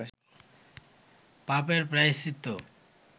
পাপের প্রায়শ্চিত্ত